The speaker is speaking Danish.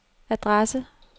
adresse